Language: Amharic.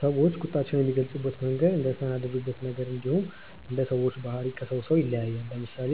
ሰዎች ቁጣቸውን የሚገልጹበት መንገድ እንደተናደዱበት ነገር እንዲሁም እንደ ሰዎቹ ባህሪ ከሰው ሰው ይለያያል። ለምሳሌ